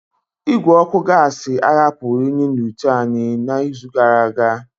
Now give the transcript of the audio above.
Igwe ọkụ gasi ahapụghị unyi n'ite anyị n'izu gara aga.